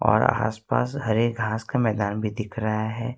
आस पास हरे घास का मैदान भी दिख रहा है।